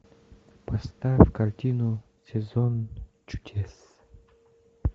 поставь картину сезон чудес